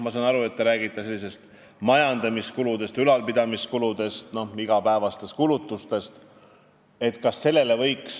Ma saan aru, et te räägite ministeeriumide majandamiskuludest, ülalpidamiskuludest, igapäevastest kulutustest.